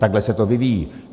Takhle se to vyvíjí.